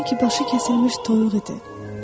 Sanki başı kəsilmiş toyuq idi.